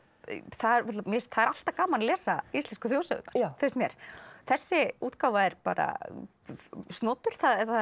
það er alltaf gaman að lesa íslensku þjóðsögurnar finnst mér þessi útgáfa er bara snotur